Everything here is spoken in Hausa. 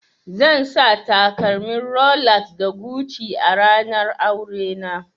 Zan sa takalmin Rolex da Gucci a ranar aurena